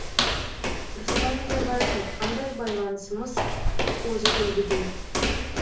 нұрсұлтан назарбаев айтқандай байланысымыз озық үлгіде